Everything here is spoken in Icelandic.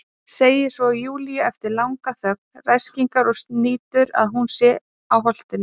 Segir svo Júlíu eftir langa þögn, ræskingar og snýtur, að hún sé á Holtinu.